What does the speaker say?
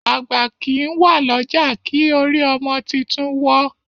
àgbà kín wá l'ọja kí orí ọmọ títún wò.